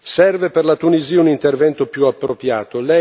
Serve per la Tunisia un intervento più appropriato.